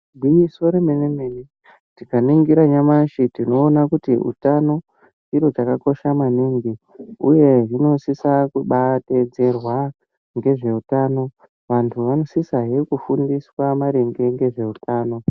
Gwinyiso remene mene tikaningira nyamushi tinoona kuti utano chiro chakakosha maningi uye hunosisa kubadetserwa ngezveutano. Vantu vanosisahe kufundiswa maringe ngezveutano.